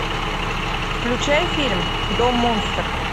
включай фильм дом монстр